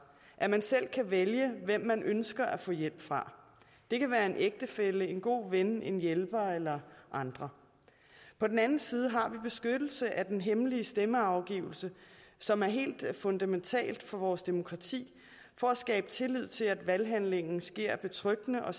at man selv kan vælge hvem man ønsker at få hjælp fra det kan være en ægtefælle en god ven en hjælper eller andre på den anden side har vi beskyttelse af den hemmelige stemmeafgivelse som er helt fundamentalt for vores demokrati for at skabe tillid til at valghandlingen sker betryggende og